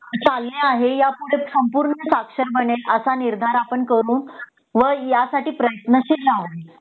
चालणे आहे यापुढे सगळे साक्षर बनेल असा निर्धार आपण करू व यासाठी प्रयत्नशील राहू